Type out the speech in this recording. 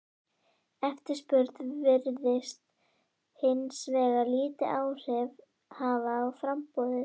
Eftirspurn virðist hins vegar lítil áhrif hafa á framboðið.